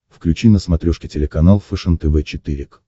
включи на смотрешке телеканал фэшен тв четыре к